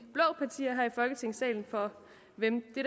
folketingssalen for hvem det